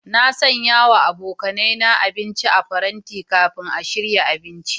Na sanya wa abokaina abinci a paranti kafin a shirya abinci.